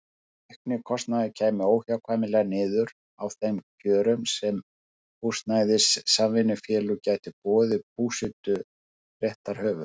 Sá aukni kostnaður kæmi óhjákvæmilega niður á þeim kjörum sem húsnæðissamvinnufélög gætu boðið búseturéttarhöfum.